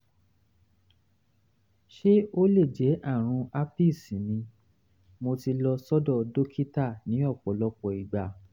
ṣé ó lè jẹ́ àrùn herpes ni mo ti lọ sọ́dọ̀ dókítà ní ọ̀pọ̀lọpọ̀ ìgbà